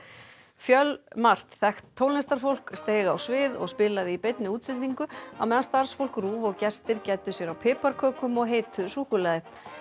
fjölmargt þekkt tónlistarfólk steig á svið og spilaði í beinni útsendingu á meðan starfsfólk RÚV og gestir gæddu sér á piparkökum og heitu súkkulaði